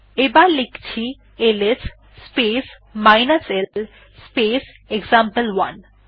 এবার লেখছি LS space l space example one